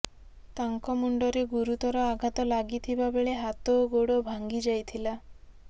ତାଙ୍କ ମୁଣ୍ଡରେ ଗୁରୁତର ଆଘାତ ଲାଗିଥିବା ବେଳେ ହାତ ଓ ଗୋଡ ଭାଙ୍ଗି ଯାଇଥିଲା